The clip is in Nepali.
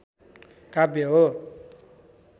काव्य हो